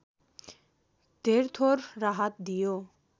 धेरथोर राहत दियो